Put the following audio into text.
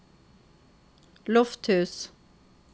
Lofthus